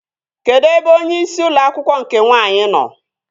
Kedụ ebe onyeisi ụlọ akwụkwọ nke nwaanyị nọ?